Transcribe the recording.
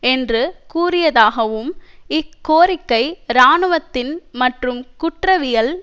என்று கூறியதாகவும் இக்கோரிக்கை இராணுவத்தின் மற்றும் குற்றவியல்